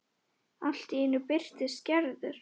Allt í einu birtist Gerður.